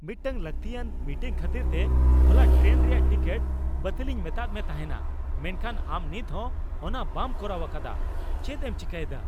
ᱢᱤᱫᱴᱟᱝ ᱞᱟᱹᱠᱛᱤᱭᱟᱱ ᱢᱤᱴᱤᱝ ᱠᱷᱟᱹᱛᱤᱨᱛᱮ ᱦᱚᱞᱟ ᱴᱨᱮᱱ ᱨᱮᱭᱟᱜ ᱴᱤᱠᱤᱴ ᱵᱟᱹᱛᱤᱞᱤᱧ ᱢᱮᱛᱟᱫ ᱢᱮ ᱛᱟᱦᱮᱱᱟ ᱢᱮᱱᱠᱷᱟᱱ ᱟᱢ ᱱᱤᱛ ᱦᱚᱸ ᱚᱱᱟ ᱵᱟᱢ ᱠᱚᱨᱟᱣ ᱟᱠᱟᱫᱟ, ᱪᱮᱫ ᱮᱢ ᱪᱤᱠᱟᱹᱭᱮᱫᱟ ᱾